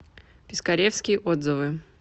пискаревский отзывы